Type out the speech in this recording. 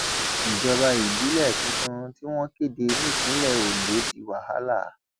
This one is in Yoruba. ìjọba ìbílẹ tuntun tí wọn kéde nípìnlẹ ondo di wàhálà